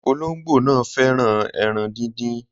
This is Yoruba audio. Ologbo náà fẹ́ràn ẹran díndín